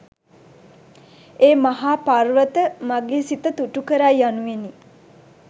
ඒ මහා පර්වත, මගේ සිත තුටුකරයි යනුවෙනි.